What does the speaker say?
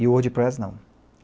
E o Wordpress não.